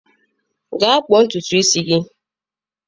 Gaa kpụọ ntutu isi gị.